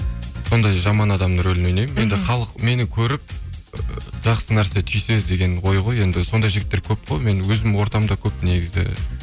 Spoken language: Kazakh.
сондай жаман адам рөлін ойнаймын енді халық мені көріп і жақсы нәрсе түйсе деген ой ғой енді сондай жігіттер көп қой мен өзімнің ортамда көп негізі